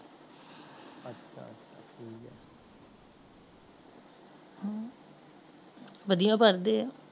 ਵਧਿਆ ਪੜਦੇ ਆ